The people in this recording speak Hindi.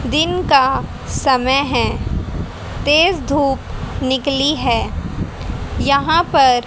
दिन का समय है तेज धूप निकली हुई है यहाँ पर--